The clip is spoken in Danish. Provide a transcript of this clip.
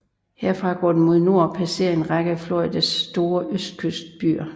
Herfra går den mod nord og passerer en række af Floridas store østkyst byer